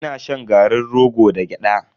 Ina shan garin rogo da gyada.